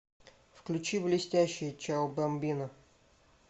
включи блестящие чао бамбина